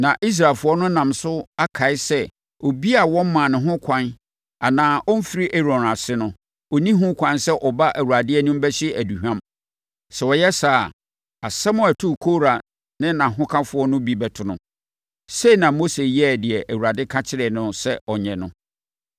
na Israelfoɔ no nam so akae sɛ obiara a wɔmmaa no ho kwan anaa ɔmfiri Aaron ase no, ɔnni ho kwan sɛ ɔba Awurade anim bɛhye aduhwam. Sɛ ɔyɛ saa a, asɛm a ɛtoo Kora ne nʼahokafoɔ no bi bɛto no. Sei na Mose yɛɛ deɛ Awurade ka kyerɛɛ no sɛ ɔnyɛ no.